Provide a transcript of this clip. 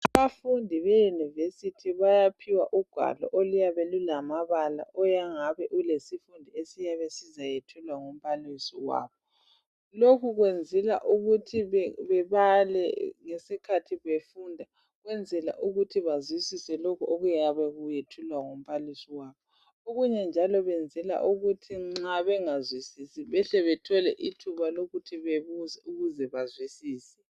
Abafundi beyunivesithi bayaphiwa ugwalo oluyabe lulamabala oluyangabe lulesifundo Esiyabe sizayethulwa ngumbalisi wabo lokhu kuyenzelwa ukuthi bebale ngesikhathi befunda ukwenzela Ukuthi bazwisise lokhu okuyabe kuyethulwa ngumbalisi wabo okunye njalo kwenzelwa ukuthi nxa bengazwisisi behle bethole ithuba lokuthi bebuze ukuze bazwisise